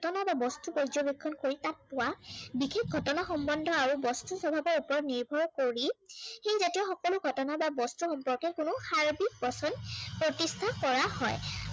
তোমালোকে বস্তু পৰ্যবেক্ষন কৰিছা কোৱা, বিশেষ ঘটনা সম্বন্ধ আৰু বস্তুৰ স্বভাৱৰ ওপৰত নিৰ্ভৰ কৰি, সেই জাতীয় সকলো ঘটনা বা বস্তু সম্পৰ্কে কোনো প্ৰতিষ্ঠা কৰা হয়।